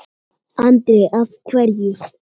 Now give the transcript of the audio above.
Andri: Af hverju?